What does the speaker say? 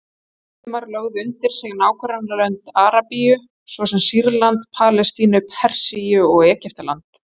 Múslímar lögðu undir sig nágrannalönd Arabíu, svo sem Sýrland, Palestínu, Persíu og Egyptaland.